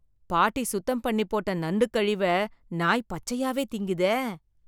பாட்டி சுத்தம் பண்ணி போட்ட நண்டு கழிவை நாய் பச்சையாவே திங்குதே.